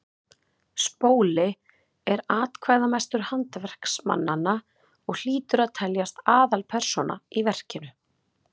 spóli er atkvæðamestur handverksmannanna og hlýtur að teljast aðalpersóna í verkinu